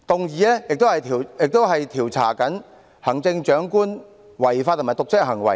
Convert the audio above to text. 議案亦要求調查行政長官的違法和瀆職行為。